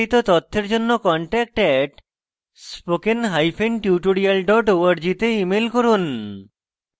বিস্তারিত তথ্যের জন্য contact @spokentutorial org তে ইমেল করুন